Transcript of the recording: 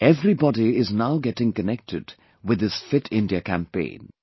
Everybody is now getting connected with this Fit India Campaign